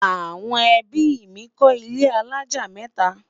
àwọn ẹbí mí kò ilé alájá meta